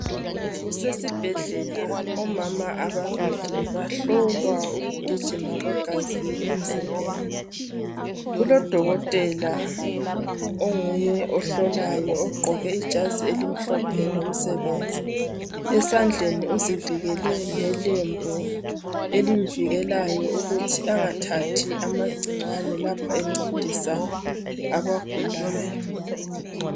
Kusesibhedlela omama ababili bahlolwa ukugijima kwegazi emzimbeni . Kulodokotela onguye ohlolayo ogqoke ijazi elimhlophe lomsebenzi, esandleni uzivikele ngelembu elemvikekelayo ukuthi angathathi amagcikwane lapha encedisa abagulayo.